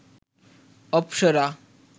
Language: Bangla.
অপ্সরা